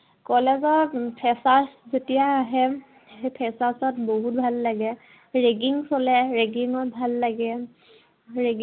college ত freshers যেতিয়া আহে, সেই freshers ত বহুত ভাল লাগে। ragging চলে ragging ত ভাল লাগে। ৰে